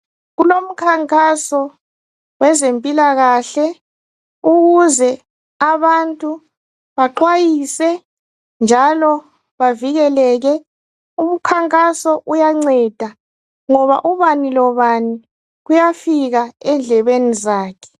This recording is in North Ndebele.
Kulomkhankaso wezempilakahle ukuze abantu baxwayise njalo bavikeleke. Umkhankaso uyanceda ngoba ubani lobani kuyafika endlebeni zakhe.